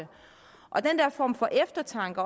og den her form for eftertanke